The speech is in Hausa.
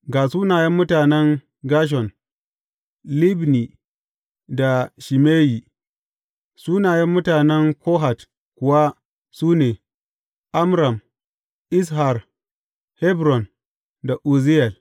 Ga sunayen mutanen Gershon, Libni, da Shimeyi Sunayen mutanen Kohat kuwa su ne, Amram, Izhar, Hebron da Uzziyel.